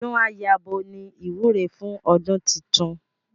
Ọdún á yabo ni ìwúre fún ọdún titun